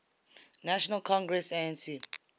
national congress anc